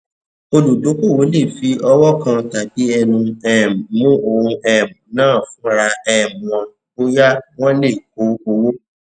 olùdókòwò le fi ọwọ kan tàbí ẹnu um mú ohun um náà fúnra um wọn bóyá wón lè kó owó